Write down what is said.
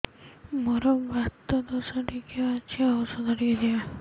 ମୋର୍ ବାତ ଦୋଷ ଟିକେ ଅଛି ଔଷଧ ଟିକେ ଦିଅ